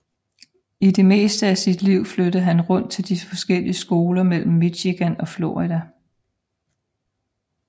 I det meste af sit liv flyttede han rundt til forskellige skoler mellem Michigan og Florida